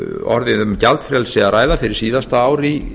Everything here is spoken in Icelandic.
orðið um gjaldfrelsi að ræða fyrir síðasta ár í